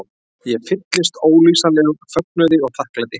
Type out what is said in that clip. Ég fylltist ólýsanlegum fögnuði og þakklæti.